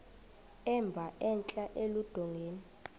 emba entla eludongeni